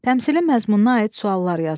Təmsilin məzmununa aid suallar yazın.